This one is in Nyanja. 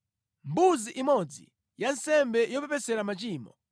mbuzi imodzi ya nsembe yopepesera machimo;